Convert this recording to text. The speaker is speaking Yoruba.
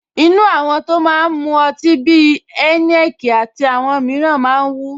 Inú àwọn tó máa ń mu ọtí bí i Heineken àti àwọn mìíràn máa ń wú